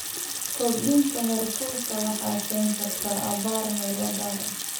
Kordhinta heerkulka waxay keeni kartaa abaar meelo gaar ah.